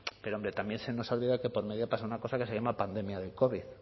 pero hombre también se nos olvida que por medio pasa una cosa que se llama pandemia del covid